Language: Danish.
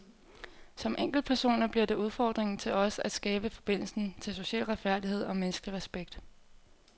Som enkeltpersoner bliver det udfordringen til os at genskabe forbindelsen til social retfærdighed og menneskelig respekt.